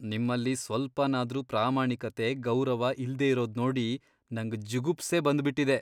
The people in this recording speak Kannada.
ನಿಮ್ಮಲ್ಲಿ ಸ್ವಲ್ಪನಾದ್ರೂ ಪ್ರಾಮಾಣಿಕತೆ, ಗೌರವ ಇಲ್ದೇ ಇರೋದ್ ನೋಡಿ ನಂಗ್ ಜುಗುಪ್ಸೆ ಬಂದ್ಬಿಟಿದೆ.